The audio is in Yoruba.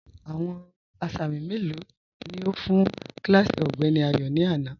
Awọn asámì melo ni o fun kílásí Ọgbẹ̀ni Ayo ni ana?